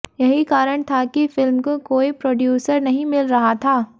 यही कारण था कि फिल्म को कोई प्रोड्यूसर नहीं मिल रहा था